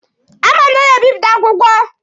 A ma m na ọ na-ebịpụta akwụkwọ.